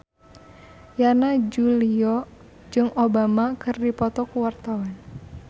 Yana Julio jeung Obama keur dipoto ku wartawan